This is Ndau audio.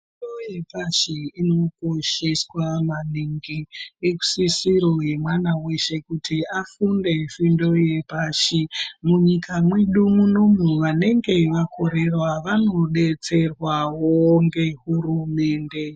Fundo yepashi inokosheswa maningi. Isisiro yemwana weshe kuti afunde fundo yepashi. Munyika mwedu munomu vanenge vakorera vanodetserwawo ngehurumende.